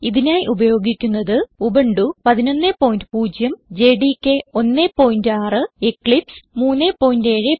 ഇതിനായി ഉപയോഗിക്കുന്നത് Ubuntu 110 JDK 16 Eclipse 370